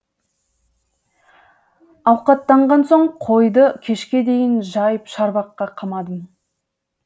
ауқаттанған соң қойды кешке дейін жайып шарбаққа қамадым